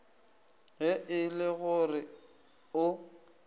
ge e le gore o